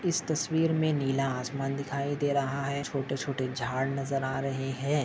इस तस्वीर मे नीला आसमान दिखाई दे रहा है। छोटे छोटे झाड नजर आ रहे है।